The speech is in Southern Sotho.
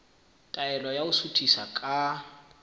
taelo ya ho suthisa ka